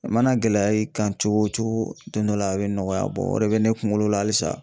A mana gɛlɛya i kan cogo cogo don dɔ la a bɛ nɔgɔya o de bɛ ne kunkolo la halisa.